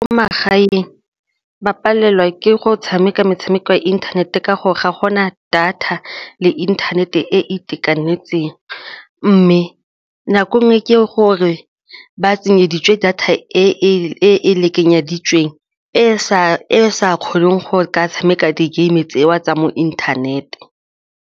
Ko magaeng ba palelwa ke go tshameka metshameko ya inthanete ka gore ga go na data le inthanete e e itekanetseng mme nako e nngwe ke gore ba tsenyeditse data e e lekanyeditsweng e sa kgoneng go ka tshameka di-game tseo tsa mo internet-e.